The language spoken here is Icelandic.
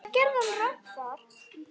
Hvað gerði hann rangt þar?